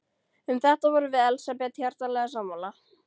Um þetta vorum við Elsabet hjartanlega sammála.